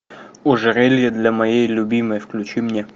ожерелье для моей любимой включи мне